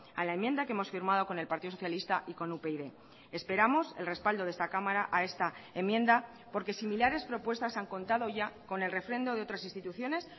a la enmienda que hemos firmado con el partido socialista y con upyd esperamos el respaldo de esta cámara a esta enmienda porque similares propuestas han contado ya con el refrendo de otras instituciones